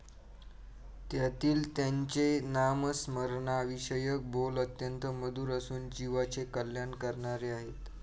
त्यातील त्यांचे नामस्मरणाविषयक बोल अत्यंत मधुर असून जीवाचे कल्याण करणारे आहेत.